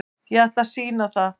Ég ætla að sýna það.